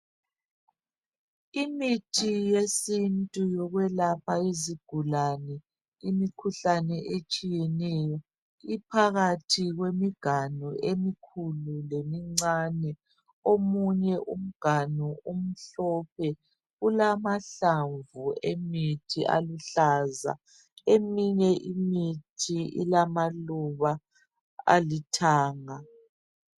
Imithi yesintu yokwelapha izigulane imikhuhlane etshiyeneyo iphakathi kwemiganu emikhulu lemincane omunye umganu umhlophe ulamahlamvu emithi aluhlaza eminye imithi ilamaluba alithanga